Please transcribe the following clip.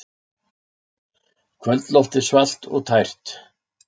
Kvöldloftið svalt og tært.